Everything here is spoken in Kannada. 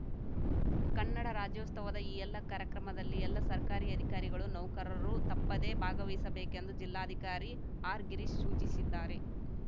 ಕನ್ನಡ ರಾಜ್ಯೋಸ್ತವದ ಈ ಎಲ್ಲ ಕಾರ್ಯಕ್ರಮದಲ್ಲಿ ಎಲ್ಲ ಸರ್ಕಾರಿ ಅಧಿಕಾರಿಗಳು ನೌಕರರು ತಪ್ಪದೇ ಭಾಗವಹಿಸಬೇಕೆಂದು ಜಿಲ್ಲಾಧಿಕಾರಿ ಆರ್‌ಗಿರೀಶ್‌ ಸೂಚಿಸಿದ್ದಾರೆ